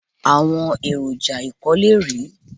Àwọn èrò ọjà ìkólé rèé.